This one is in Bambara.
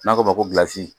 N'a ko ko